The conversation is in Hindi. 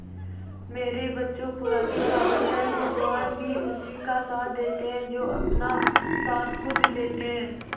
मेरे बच्चों पुरानी कहावत है भगवान भी उसी का साथ देते है जो अपना साथ खुद देते है